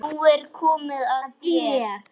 Nú er komið að þér.